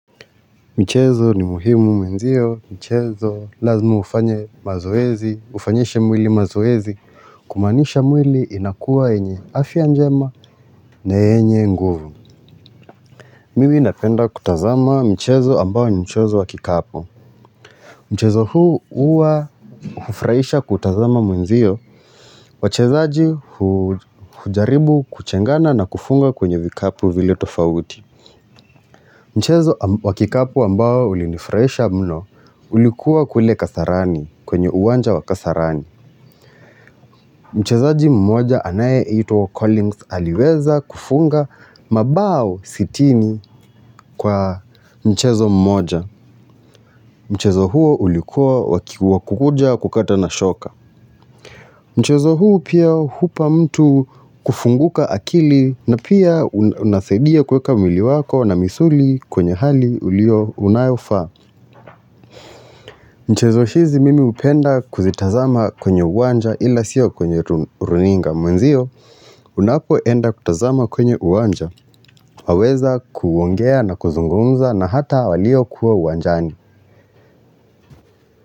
Michezo ni muhimu mwenzio, michezo lazima ufanye mazoezi, ufanyishe mwili mazoezi, kumaanisha mwili inakuwa yenye afya njema na yenye nguvu. Mimi napenda kutazama michezo ambayo ni mchezo wa kikapu. Mchezo huu huwa kufurahisha kutazama mwenzio, wachezaji hujaribu kuchengana na kufunga kwenye vikapu vile tofauti. Mchezo wa kikapu ambao ulinifurahisha mno ulikuwa kule kasarani kwenye uwanja wa kasarani. Mchezaji mmoja anayeitwa Collins aliweza kufunga mabao sitini kwa mchezo mmoja. Mchezo huo ulikuwa wa kukuja kukata na shoka. Mchezo huo pia hupa mtu kufunguka akili na pia unasaidia kuweka mwili wako na misuli kwenye hali uliyo unayofaa. Michezo hizi mimi hupenda kuzitazama kwenye uwanja ila siyo kwenye runinga Mwenzio unapoenda kutazama kwenye uwanja waweza kuongea na kuzungumza na hata walio kuwa uwanjani.